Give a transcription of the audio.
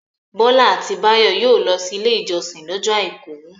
Bọ́lá àti Báyọ̀ yóò lọ sí Ilé-ìjọsìn lọ́jọ́ àìkú.